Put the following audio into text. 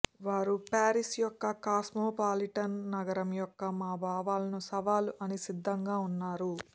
వారు పారిస్ యొక్క కాస్మోపాలిటన్ నగరం యొక్క మా భావాలను సవాలు అన్ని సిద్ధంగా ఉన్నారు